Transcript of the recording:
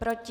Proti?